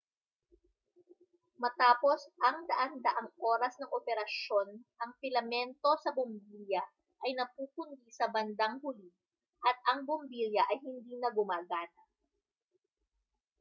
matapos ang daan-daang oras ng operasyon ang pilamento sa bombilya ay napupundi sa bandang huli at ang bombilya ay hindi na gumagana